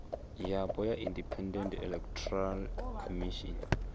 yapo ya independent electoral commission